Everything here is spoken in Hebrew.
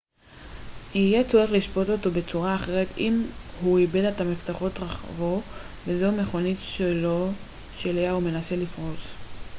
יהיה צורך לשפוט אותו בצורה אחרת אם הוא איבד את מפתחות רכבו וזו המכונית שלו שאליה הוא מנסה לפרוץ